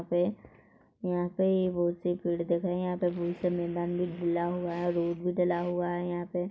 यहाँ पे यहाँ पे ये बहुत से पेड़ दिख रहे हैं यहाँ पे मैदान भी डाला हुआ है और रोड भी डला हुआ है यहाँ पे--